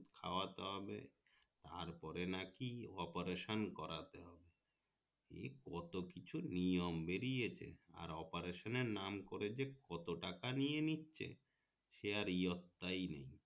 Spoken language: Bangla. খাওয়া দাওয়া বে তার পরে নাকি operation করতে হবে এই কত কিছু নিয়ম বেরিয়েছে আর operation এর নাম করে যে কত টাকা নিয়ে নিচ্ছে সে আর পাত্তা নেই